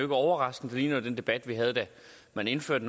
overraskende den ligner den debat vi havde da man indførte